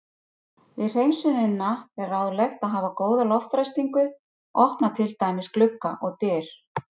Við hreinsunina er ráðlegt að hafa góða loftræstingu, opna til dæmis glugga og dyr.